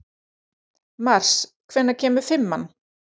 Mars, hvenær kemur fimman?